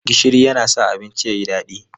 Gishiri yana sa abinci ya yi daɗi.